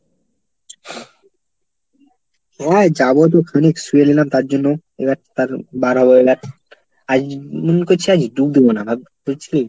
হ্যাঁ যাবো তো খানিক শুয়ে নিলাম তার জন্য। এবার তার বাড় হবো এবার আজ মনে করছি আজ ডুব দেবো না ভাব বুঝলি?